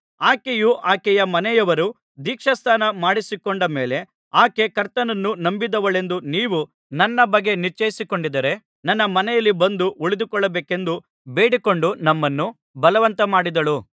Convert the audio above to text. ಆಕೆಯೂ ಆಕೆಯ ಮನೆಯವರೂ ದೀಕ್ಷಾಸ್ನಾನ ಮಾಡಿಸಿಕೊಂಡ ಮೇಲೆ ಆಕೆ ಕರ್ತನನ್ನು ನಂಬಿದವಳೆಂದು ನೀವು ನನ್ನ ಬಗ್ಗೆ ನಿಶ್ಚಯಿಸಿಕೊಂಡಿದ್ದರೆ ನನ್ನ ಮನೆಯಲ್ಲಿ ಬಂದು ಉಳಿದುಕೊಳ್ಳಬೇಕೆಂದು ಬೇಡಿಕೊಂಡು ನಮ್ಮನ್ನು ಬಲವಂತ ಮಾಡಿದಳು